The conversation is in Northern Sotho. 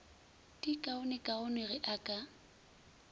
di kaonekaone ge o ka